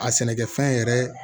A sɛnɛkɛfɛn yɛrɛ